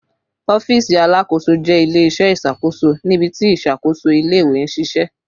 Ọfiisi Alakoso jẹ ile-iṣẹ iṣakoso nibiti iṣakoso ile-iwe n ṣiṣẹ